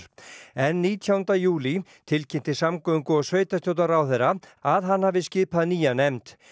en nítjándi júlí tilkynnti samgöngu og sveitarstjórnarráðherra að hann hefði skipað nýja nefnd